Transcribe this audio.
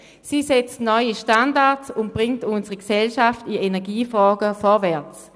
Diese Gemeinde setzt neue Standards und bringt unsere Gesellschaft in Energiefragen vorwärts.